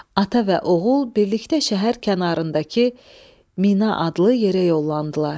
Ata və oğul birlikdə şəhər kənarındakı Mina adlı yerə yollandılar.